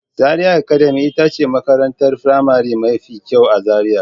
Zaria academy ita ce makarantar firamare mafi kyau a Zaria.